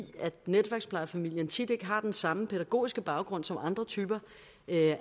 netværksplejefamilien tit ikke har den samme pædagogiske baggrund som andre typer